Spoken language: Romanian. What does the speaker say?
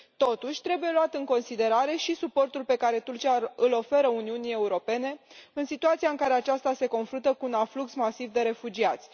Totuși, trebuie luat în considerare și suportul pe care Turcia îl oferă Uniunii Europene în situația în care aceasta se confruntă cu un aflux masiv de refugiați.